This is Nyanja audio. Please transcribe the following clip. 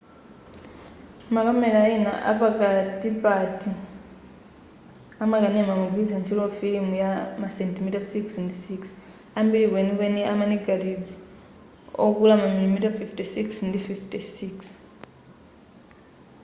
makamela ena a pakatipati amakanema amagwilitsa ntchito filimu ya masentimita 6 ndi 6 ambiri kwenikweni ama negative okula mamilimita 56 ndi 56